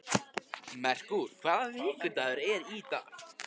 Merkúr, hvaða vikudagur er í dag?